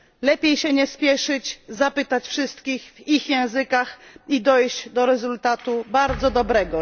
Lepiej się nie spieszyć, zapytać wszystkich w ich własnych językach i dojść do rezultatu bardzo dobrego.